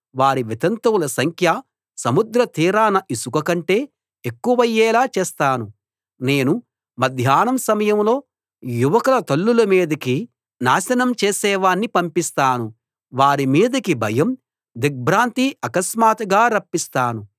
వారి వితంతువుల సంఖ్య సముద్రతీరాన ఇసుక కంటే ఎక్కువయ్యేలా చేస్తాను నేను మధ్యాహ్నం సమయంలో యువకుల తల్లుల మీదికి నాశనం చేసేవాణ్ణి పంపిస్తాను వారి మీదికి భయం దిగ్భ్రాంతి ఆకస్మాత్తుగా రప్పిస్తాను